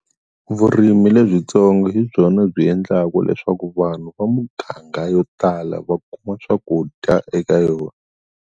Vurimi lebyitsongo hi byona byi endlaku leswaku vanhu va muganga yo tala va kuma swakudya eka yona.